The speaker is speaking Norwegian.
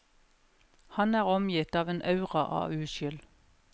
Han er omgitt av en aura av uskyld.